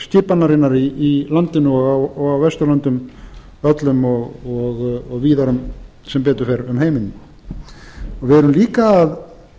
lýðræðisskipanarinnar í landinu og á vesturlöndum öllum og víðar sem betur fer um heiminn við erum líka að